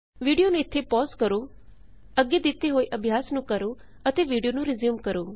video ਨੂੰ ਇੱਥੇ pause ਕਰੋ ਅੱਗੇ ਦਿੱਤੇ ਹੋਏ ਅਭਿਆਸ ਨੂੰ ਕਰੋ ਅਤੇ ਵੀਡਿਓ ਨੂੰ ਰਿਜ਼ਿਊਮ ਕਰੋ